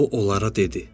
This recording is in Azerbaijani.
O onlara dedi.